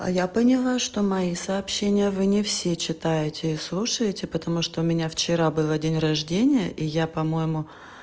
а я поняла что мои сообщения вы не все читаете и слушаете потому что у меня вчера было день рождения и я по-моему